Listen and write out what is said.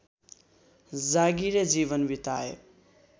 जागीरे जीवन बिताए